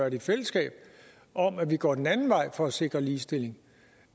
i fællesskab om at vi går den anden vej for at sikre ligestilling